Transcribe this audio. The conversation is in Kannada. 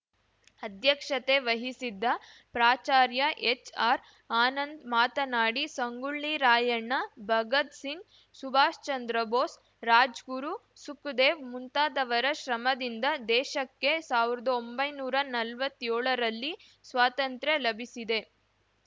ಅಧ್ಯಕ್ಷತೆ ವಹಿಸಿದ್ದ ಪ್ರಾಚಾರ್ಯ ಎಚ್‌ಆರ್‌ ಆನಂದ್‌ ಮಾತನಾಡಿ ಸಂಗೊಳ್ಳಿ ರಾಯಣ್ಣ ಭಗತ್‌ ಸಿಂಗ್‌ ಸುಭಾಶ್‌ಚಂದ್ರ ಬೋಸ್‌ ರಾಜ್‌ಗುರು ಸುಖದೇವ್‌ ಮುಂತಾದವರ ಶ್ರಮದಿಂದ ದೇಶಕ್ಕೆ ಸಾವಿರದ ಒಂಬೈನೂರಾ ನಲ್ವತ್ಯೋಳರಲ್ಲಿ ಸ್ವಾತಂತ್ರ್ಯ ಲಭಿಸಿದೆ